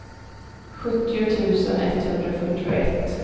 sjuttio tusen etthundrafyrtioett